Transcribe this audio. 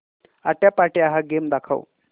आट्यापाट्या हा गेम दाखव